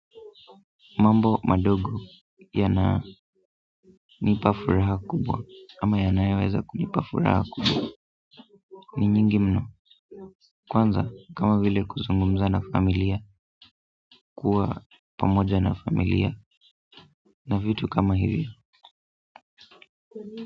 Mambo madogo yananipa furaha kubwa ama yanaweza kunipa furaha kubwa ni nyingi mno kwanza kama vile kuzungumza na familia, kuwa pamoja na familia na vitu kama hivyo.